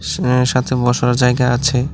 সাথে বসার জায়গা আছে।